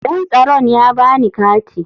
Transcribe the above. Dan tsaron ya ba ni kati.